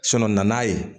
na n'a ye